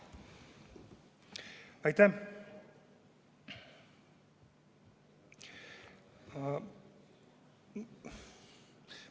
Aitäh!